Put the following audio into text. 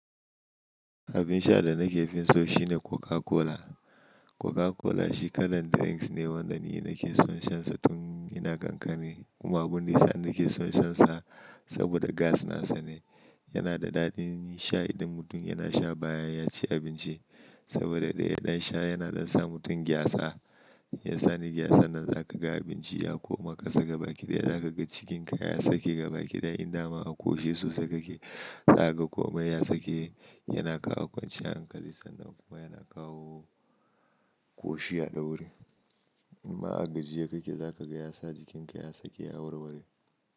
Abin sha da nake fin so shine Coca Cola. Coca Cola shi kalan drinks ne wanda ni nake son shansa tun ina kankani Kuma abun da yasa nake son shansa saboda gas nasa ne. Yana da daɗin sha idan mutum yana sha bayan ya ci abinci. Saboda ɗaya ɗan sha yana ɗan sa mutum gyasa. Yasa ni gyasa nan za ka ga abinci ya koma ka saka baki daya, za ka ga cikinka ya sake baki daya. In dama a ƙoshi sosai ka ke, za ka ga komai ya sake yana kawo kwanciyar hankali sannan kuma yana kawo ƙoshi a ɗaure. In ma a gajiye ka ke, za ka ga ya sa jikinka ya sake ya warware.